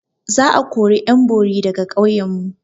Za a kori ƴan bori daga ƙauyan mu.